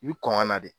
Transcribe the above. I bi kɔn ka na de